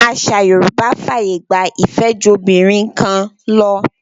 Àṣà Yorùbá fàyè gba ìfẹ́jobìnrinkanlọ.